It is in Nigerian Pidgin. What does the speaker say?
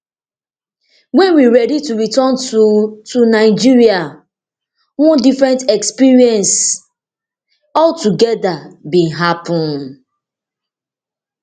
wen we ready to return to to nigeria one different experience altogeda bin happun